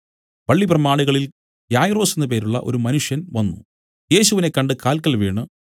പള്ളി പ്രമാണികളിൽ യായിറോസ് എന്നു പേരുള്ള ഒരു മനുഷ്യൻ വന്നു യേശുവിനെ കണ്ട് കാല്ക്കൽ വീണു